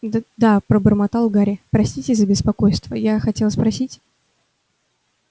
д-да пробормотал гарри простите за беспокойство я хотел спросить